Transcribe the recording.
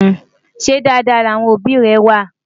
ṣé Dàda láwọn òbí é wà?